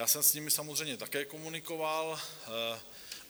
Já jsem s nimi samozřejmě také komunikoval.